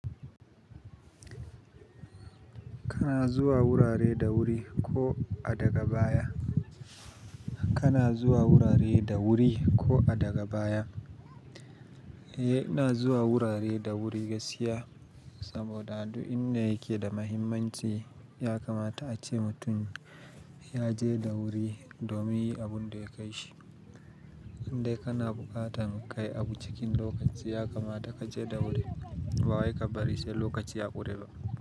Kana zuwa wurare da wuri ko a daga baya. Kana zuwa wurare da wuri ko a daga baya. Eh, ina zuwa wurare da wuri gaskiya saboda duk inda yake da mahimmanci ya kamata ace mutum ya je da wuri domin yin abun da ya kai shi. In dai kana buƙatar kai abu cikin lokaci ya kamata ka je da wuri ba wai ka bari sai lokaci ya ƙure ba.